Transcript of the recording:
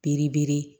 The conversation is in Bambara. Biribe